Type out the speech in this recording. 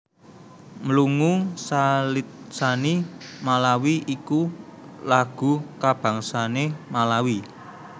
Mlungu salitsani malawi iku lagu kabangsané Malawi